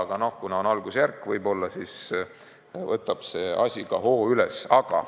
Aga noh, asi on algusjärgus, võib-olla see võtab hoo üles.